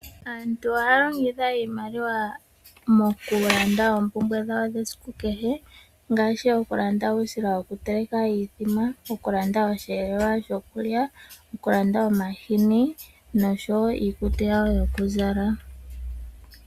Aantu ohaya longitha iimaliwa mo kulanda oompubwe dhawo die siku kehe, ngaashi okulanda uusila wo kuteleka iimbombo, oku landa osheelelwa sho kulya, oku landa omahini nosho wo iikutu yawo yo ku zala.